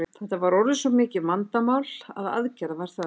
Þetta var orðið svo mikið vandamál að aðgerða var þörf.